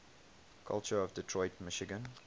culture of detroit michigan